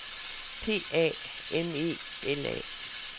P A M E L A